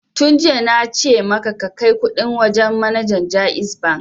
Tun jiya fa na ce maka ka kai kuɗin wajen manajan JAIZ Bank!